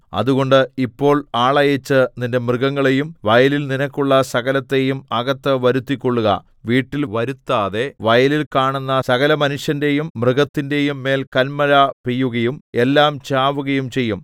അതുകൊണ്ട് ഇപ്പോൾ ആളയച്ച് നിന്റെ മൃഗങ്ങളെയും വയലിൽ നിനക്കുള്ള സകലത്തെയും അകത്ത് വരുത്തിക്കൊള്ളുക വീട്ടിൽ വരുത്താതെ വയലിൽ കാണുന്ന സകലമനുഷ്യന്റെയും മൃഗത്തിന്റെയും മേൽ കല്മഴ പെയ്യുകയും എല്ലാം ചാവുകയും ചെയ്യും